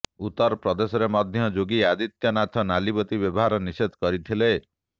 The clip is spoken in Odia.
ଉତ୍ତରପ୍ରଦେଶରେ ମଧ୍ୟ ଯୋଗୀ ଆଦିତ୍ୟନାଥ ନାଲିବତି ବ୍ୟବହାର ନିଷେଧ କରିଥିଲେ